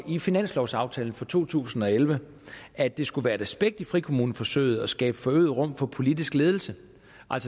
i finanslovaftalen for to tusind og elleve at det skulle være et aspekt ved frikommuneforsøget at skabe forøget rum for politisk ledelse